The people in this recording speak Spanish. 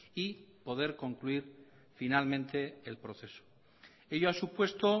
y poder concluir finalmente el proceso ello ha supuesto